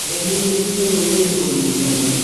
Nĩahinyĩrĩirie rũrĩrĩ kũnyitana